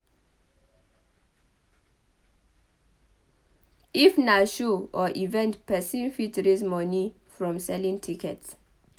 if na show or event person fit raise money from selling tickets